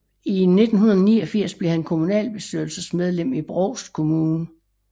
I 1989 blev han kommunalbestyrelsesmedlem i Brovst Kommune